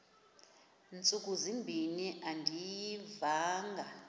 ntsuku zimbin andiyivanga